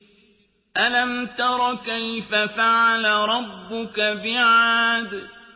أَلَمْ تَرَ كَيْفَ فَعَلَ رَبُّكَ بِعَادٍ